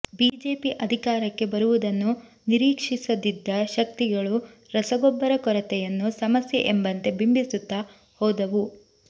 BJP ಅಧಿಕಾರಕ್ಕೆ ಬರುವುದನ್ನು ನಿರೀಕ್ಷಿಸದಿದ್ದ ಶಕ್ತಿಗಳು ರಸಗೊಬ್ಬರ ಕೊರತೆಯನ್ನು ಸಮಸ್ಯೆ ಎಂಬಂತೆ ಬಿಂಬಿಸುತ್ತ ಹೋದವು